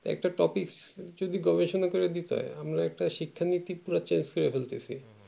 টা একটা topic যদি গবেষণা করে দিতে হয় আমরা একটা শিক্ষা নীতি পুরা choice করে ফেটেসি